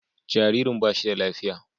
Jaririn ba shi da lafiya.